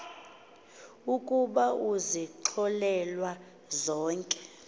ukuba uzixolelwe zonke